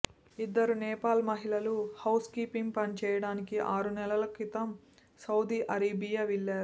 ఇద్దరు నేపాల్ మహిళలు housekeeping పని చెయ్యడానికి ఆరు నెలల క్రితం సౌదీ అరేబియా వెళ్లారు